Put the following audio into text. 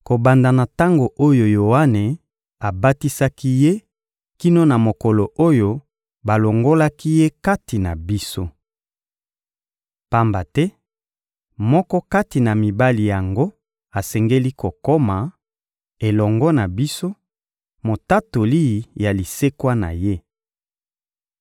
kobanda na tango oyo Yoane abatisaki Ye kino na mokolo oyo balongolaki Ye kati na biso. Pamba te moko kati na mibali yango asengeli kokoma, elongo na biso, motatoli ya lisekwa na Ye.